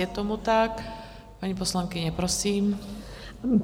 Je tomu tak, paní poslankyně, prosím.